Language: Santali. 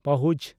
ᱯᱟᱦᱩᱡᱽ